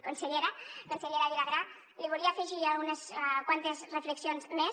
consellera vilagrà li volia afegir unes quantes reflexions més